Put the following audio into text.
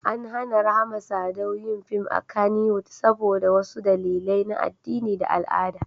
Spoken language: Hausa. An hana Rahama Sadau yin fim a Kannywood saboda wasu dalilai na addini da al'ada.